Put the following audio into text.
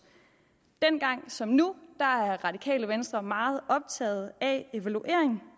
dengang som nu er radikale venstre meget optaget af evaluering